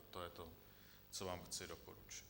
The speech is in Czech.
A to je to, co vám chci doporučit.